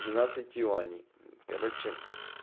двенадцать юаней короче